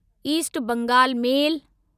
east Bengal मेल